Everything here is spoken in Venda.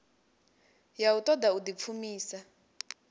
ya u ṱoḓa u ḓipfumisa